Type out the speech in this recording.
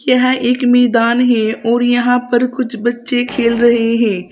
यहाँ एक मैदान है और यहां पर कुछ बच्चे खेल रहे हैं।